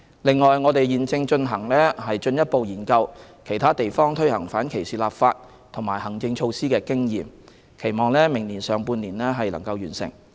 另外，我們現正進一步研究其他地方推行反歧視立法及行政措施的經驗，期望明年上半年完成。